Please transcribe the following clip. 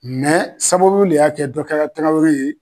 sababu le y'a kɛ dɔ kɛra Tarawore ye